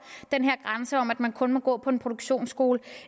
den her grænse om at man kun må gå på en produktionsskole